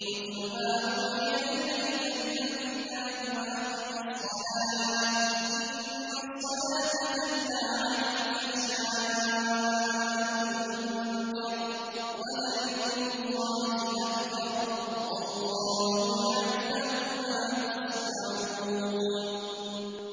اتْلُ مَا أُوحِيَ إِلَيْكَ مِنَ الْكِتَابِ وَأَقِمِ الصَّلَاةَ ۖ إِنَّ الصَّلَاةَ تَنْهَىٰ عَنِ الْفَحْشَاءِ وَالْمُنكَرِ ۗ وَلَذِكْرُ اللَّهِ أَكْبَرُ ۗ وَاللَّهُ يَعْلَمُ مَا تَصْنَعُونَ